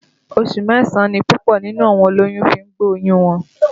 Oṣù mẹ́sàn-án ni púpọ̀ nínú olóyún fi ń gbé oyún wọn